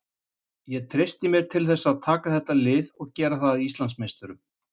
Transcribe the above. Ég treysti mér til þess að taka þetta lið og gera það að Íslandsmeisturum.